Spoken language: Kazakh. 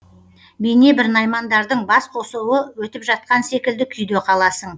бейнебір наймандардың басқосуы өтіп жатқан секілді күйде қаласың